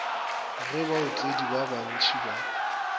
ge baotledi ba bantši ba